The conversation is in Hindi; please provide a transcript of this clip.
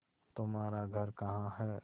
तुम्हारा घर कहाँ है